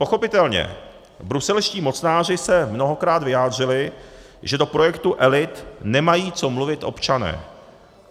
Pochopitelně, bruselští mocnáři se mnohokrát vyjádřili, že do projektu elit nemají co mluvit občané.